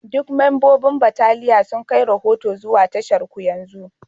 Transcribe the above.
Duk membobin bataliya sun kai rahoto zuwa tasharku yanzu